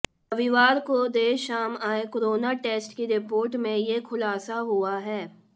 रविवार को देर शाम आए कोरोना टेस्ट की रिपोर्ट में ये खुलासा हुआ है